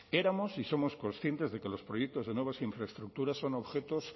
éramos y somos conscientes de que los proyectos de nuevas infraestructuras son objetos